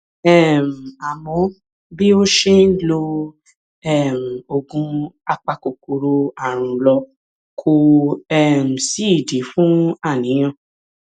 um àmọ bí ó ṣe ń lo um oògùn apakòkòrò ààrùn lọ kò um sídìí fún àníyàn